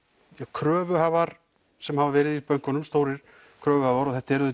kröfuhafar sem hafa verið í bönkunum stórir kröfuhafar og þetta eru